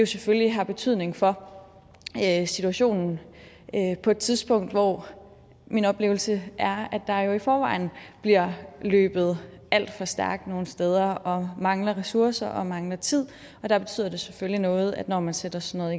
selvfølgelig har betydning for situationen på et tidspunkt hvor min oplevelse er at der i forvejen bliver løbet alt for stærkt nogle steder og mangler ressourcer og mangler tid der betyder det selvfølgelig noget når man sætter sådan